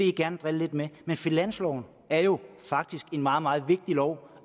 gerne drille lidt med men finansloven er jo faktisk en meget meget vigtig lov